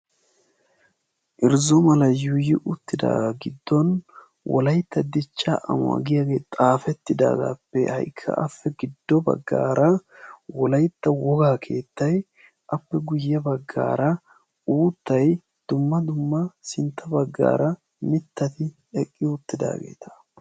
Irzzo Malay yuuyyi uttidaagaa giddon "wolayitta dichchaa amuwa "giiyaagee xaafettidaagaappe ha'ikka Aappe giddo baggaara wolayitta wogaa keettay appe guyye baggaara uuttay dumma dumma sintta baggaara eqqidi uttidaageeta.